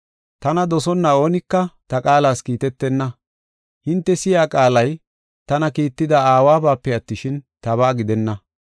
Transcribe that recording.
Tana dosonna oonika ta qaalas kiitetenna. Hinte si7iya qaalay tana kiitida Aawabape attishin, tabaa gidenna.